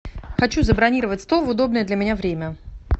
хочу забронировать стол в удобное для меня время